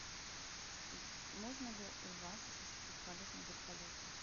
можно ли у вас осуществить полет на вертолете